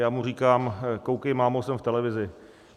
Já mu říkám: koukej, mámo, jsem v televizi.